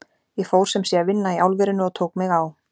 Ég fór sem sé að vinna í álverinu og tók mig á.